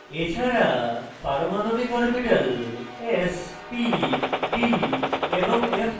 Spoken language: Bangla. এছাড়া পারমাণবিক অরবিটাল s p d এবং f প্রদর্শন করা